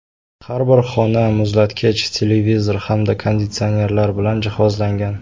Har bir xona muzlatkich, televizor hamda konditsionerlar bilan jihozlangan.